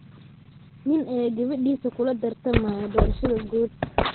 Nin ayaa gabadhiisa kula tartamaya doorashada guud.